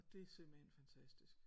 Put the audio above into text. Og det er simpelthen fantastisk